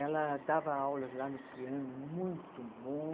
Ela dava aulas lá no piano, muito bom.